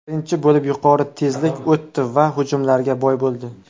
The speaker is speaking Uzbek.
Birinchi bo‘lim yuqori tezlik o‘tdi va hujumlarga boy bo‘ldi.